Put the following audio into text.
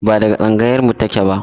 Ba daga tsangayar mu take ba